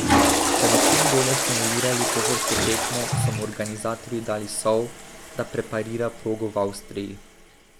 Da bi čim bolje simulirali pohorsko tekmo, so mu organizatorji dali sol, da preparira progo v Avstriji.